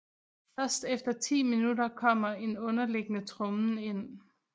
Først efter 10 minutter kommer en underliggende trommen ind